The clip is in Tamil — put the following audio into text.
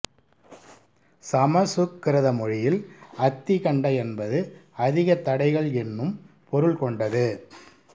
சமசுக்கிருத மொழியில் அத்திகண்ட என்பது அதிக தடைகள் என்னும் பொருள் கொண்டது